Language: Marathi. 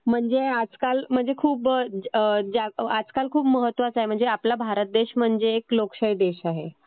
म्हणजे आजकाल म्हणजे खूप... म्हणजे आजकाल खूप महत्वाचं आहे. म्हणजे आपला भारत देश म्हणजे एक लोकशाही देश आहे.